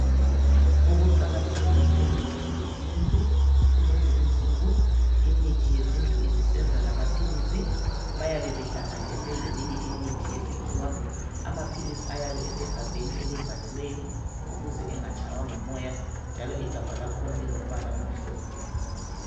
Ukuqakatheka kwemithi yesintu kulezi insuku imithi yesintu isisenza lamaphilisi bayabe behlanganise leminye imithi yesikhiwa, amaphilisi ayabe esegabheni elivaliweyo ukuze engatshaywa ngumoya njalo igabha lakhona lilombala omhlophe.